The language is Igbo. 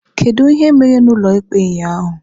Kedu ihe mere n'ụlọikpe ụnyaahụ?